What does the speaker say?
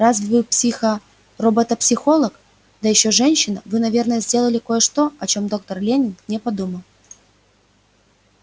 раз вы психо робото психолог да ещё женщина вы наверное сделали кое-что о чём доктор лэннинг не подумал